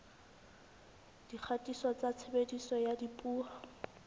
dikgatiso tsa tshebediso ya dipuo